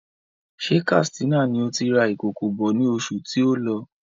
Ṣé Katsina ni òti rà ìkòkò bọ̀ ní oṣù tí o lọ?